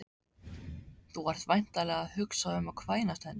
Þú ert væntanlega að hugsa um að kvænast henni